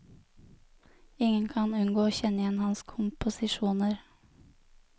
Ingen kan unngå å kjenne igjen hans komposisjoner.